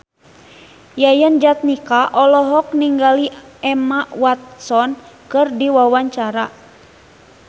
Yayan Jatnika olohok ningali Emma Watson keur diwawancara